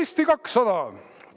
Eesti 200!